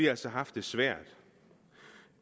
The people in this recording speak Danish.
altså haft det svært